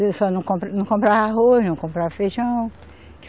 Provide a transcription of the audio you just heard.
Ele só não compra, não comprava arroz, não comprava feijão.